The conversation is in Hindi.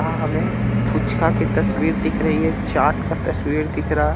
हां हमें पुचका की तस्वीर दिख रही है चाट का तस्वीर दिख रहा--